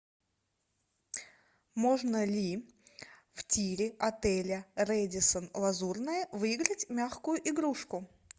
можно ли в тире отеля рэдиссон лазурная выиграть мягкую игрушку